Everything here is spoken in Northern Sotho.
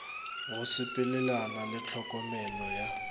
go sepelelana le tlhokomelo ya